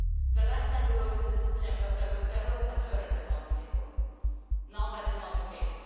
The last time we voted in September, there were several alternatives on the table. Now that is not the case.